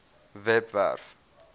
webwerf